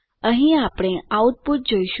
અહીં આપણે આઉટપુટ જોઈશું